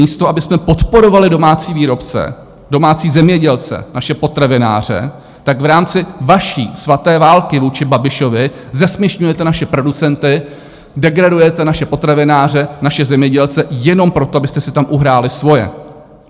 Místo abychom podporovali domácí výrobce, domácí zemědělce, naše potravináře, tak v rámci vaší svaté války vůči Babišovi zesměšňujete naše producenty, degradujete naše potravináře, naše zemědělce jenom proto, abyste si tam uhráli svoje.